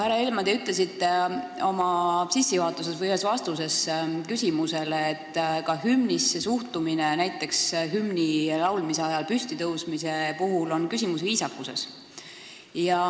Härra Helme, te ütlesite oma sissejuhatuses või ühes vastuses küsimusele, et ka hümnisse suhtumine, näiteks hümni laulmise ajal püstitõusmine, on viisakuse küsimus.